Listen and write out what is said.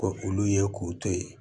Ko olu ye k'u to ye